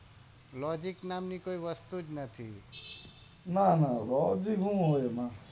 Logic નામ ની કોઈ વસ્તુ જ નથી ના ના લોજીક શું એમાં?